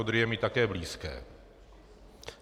Odry je mi také blízké.